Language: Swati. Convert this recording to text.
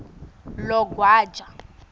logwaja